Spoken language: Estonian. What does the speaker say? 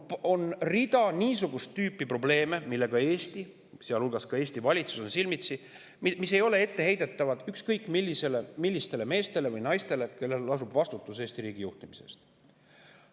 On rida niisugust tüüpi probleeme, millega Eesti, sealhulgas Eesti valitsus, on silmitsi ja mis ei ole etteheidetavad ükskõik millistele meestele või naistele, kellel lasub vastutus Eesti riigi juhtimise eest.